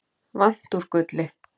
vant úr gulli.